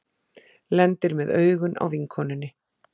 Lendir með augun á vinkonunni.